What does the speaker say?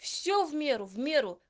все в меру в меру